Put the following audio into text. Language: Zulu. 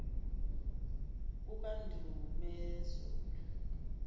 kukandumezulu